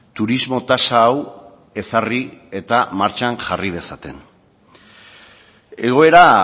turismo tasa hau ezarri eta martxan jarri dezaten egoera